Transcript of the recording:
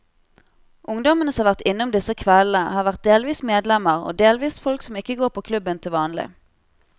Ungdommene som har vært innom disse kveldene, har vært delvis medlemmer og delvis folk som ikke går på klubben til vanlig.